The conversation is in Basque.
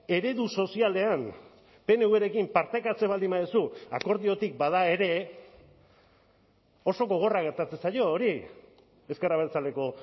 eredu sozialean pnvrekin partekatzen baldin baduzu akordiotik bada ere oso gogorra gertatzen zaio hori ezker abertzaleko